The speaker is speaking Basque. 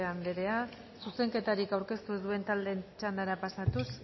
anderea zuzenketarik aurkeztu duen taldeen txandara pasatuz